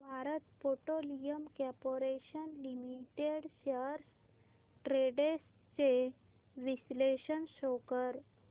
Bharat petroleum corporation limited shares trends चे विश्लेषण show कर